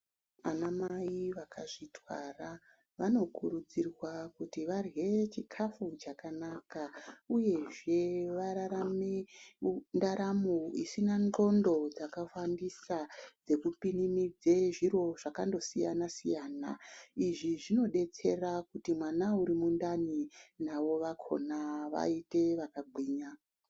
Anamai vakazvitwara vanokurudzirwa kuti varye chikafu chakanaka uyezve vararame ndaramo isina ndxondo dzakawandisa, dzekupinimidze zviro zvakandosiyana siyana. Izvi zvinodetsera kuti mwana uri mundani navo vakona vaite vakagwinya.